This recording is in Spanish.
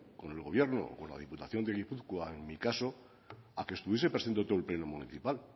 con el gobierno o con la diputación de gipuzkoa en mi caso a que estuviese presente todo el pleno municipal